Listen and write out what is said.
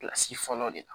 Kilasi fɔlɔ de la